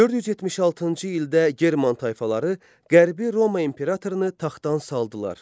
476-cı ildə german tayfaları Qərbi Roma imperatorunu taxtdan saldılar.